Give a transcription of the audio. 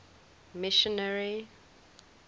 missionary